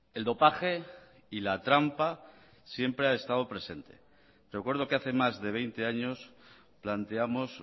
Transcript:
el dopaje y la trampa siempre ha estado presente recuerdo que hace más de veinte años planteamos